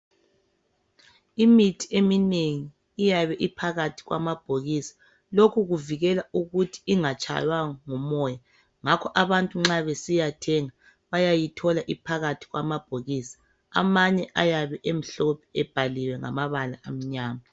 Imithi emininengi iyabe iphakathi kwamabhokisi lokhu kuvikela ukuthi ingatshaywa ngumoya ngakho abantu nxa besiyathenga bayayithola iphakathi kwamabhokisi amanye ayabe emhlophe ebhaliwe ngamabala amnyama.